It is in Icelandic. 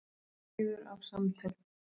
Kliður af samtölum.